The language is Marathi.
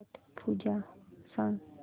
छट पूजा सांग